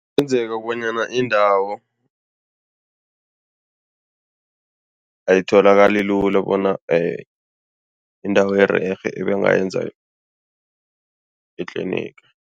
Kungenzeka kobanyana indawo ayitholakali lula bona indawo ererhe ebanganza itliniga.